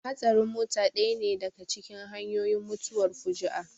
Hatsarin mota ɗaya ne daka cikin hanyoyin mutuwar fuju'a